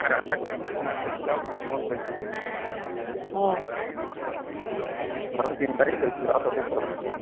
ৰাজাক কৈছিলো, তোমাক কৈছিলো আৰু পুতুমক কৈছিলো আহ তোমালোক তিনিটাকে কৈছিলো আৰু কাকো কোৱা নাই